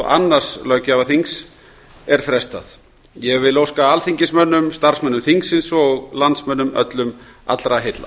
og öðrum löggjafarþings er frestað ég vil óska alþingismönnum starfsmönnum þingsins og landsmönnum öllum allra heilla